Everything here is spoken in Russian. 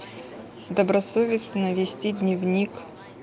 добросовестно вести дневник